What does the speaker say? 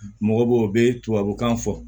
Mɔgɔ b'o bɛ tubabukan fɔ